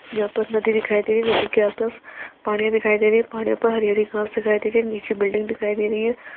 यहाँ पर नदी दिखाई दे रही है नदी के आसपास पानी दिखाई दे रही है पानी पर हरी हरी घास दिखाई दे रही है नीचे बिल्डिंग दिखाई दे रही है।